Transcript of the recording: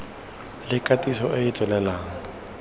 le katiso e e tswelelang